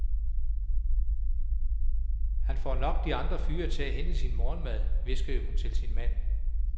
Han får nok de andre fyre til at hente sin morgenmad, hviskede hun til sin mand.